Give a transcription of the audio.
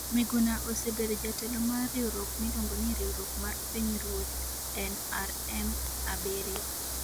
Miguna osebedo jatelo mar riwruok miluongo ni Riwruok mar Pinyruoth (NRM), 7.